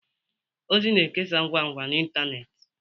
ozi na-ekesa ngwa ngwa na ịntanetị